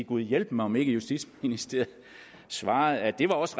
gud hjælpe mig om ikke justitsministeriet svarede at det også